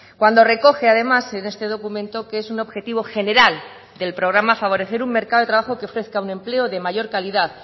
cuando recoge además en este documento que es un objetivo general del programa favorecer un mercado de trabajo que ofrezca un empleo de mayor calidad